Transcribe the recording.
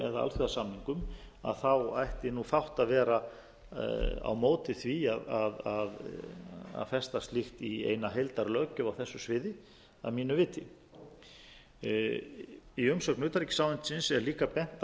eða alþjóðasamningum að þá ætti fátt að vera á móti því að festa slíkt í eina heildarlöggjöf á þessu sviði að mínu viti í umsögn utanríkisráðuneytisins er líka bent